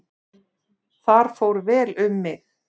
Þar fór vel um mig.